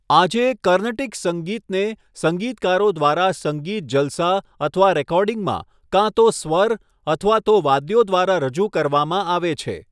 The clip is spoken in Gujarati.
આજે, કર્નટિક સંગીતને સંગીતકારો દ્વારા સંગીત જલસા અથવા રેકોર્ડિંગમાં કાં તો સ્વર અથવા તો વાદ્યો દ્વારા રજૂ કરવામાં આવે છે.